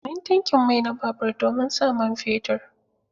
Amfanin tankin mai na babur domin sa man fetur.